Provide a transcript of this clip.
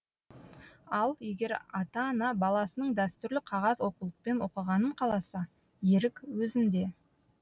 ал егер ата ана баласының дәстүрлі қағаз оқулықпен оқығанын қаласа ерік өзінде